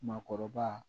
Maakɔrɔba